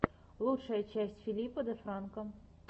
лучшая часть филипа де франко